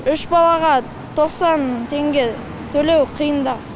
үш балаға тоқсан теңге төлеу қиындау